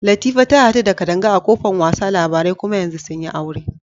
Latifa ta hadu da Kadanga a kofan wasa labarai kuma yanzu sun yi aure.